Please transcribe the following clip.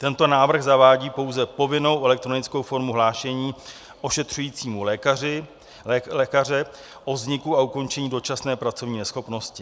Tento návrh zavádí pouze povinnou elektronickou formu hlášení ošetřujícího lékaře o vzniku a ukončení dočasné pracovní neschopnosti.